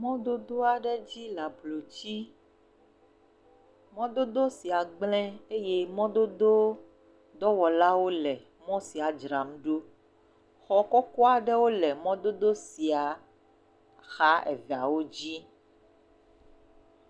Mɔdodo aɖe dzi le ablotsi, mɔdodo sia gblẽ eye mɔdododɔwɔlawo le mɔ sia dzram ɖo xɔ kɔkɔ aɖewo le mɔdodo sia xa eveawo dzi.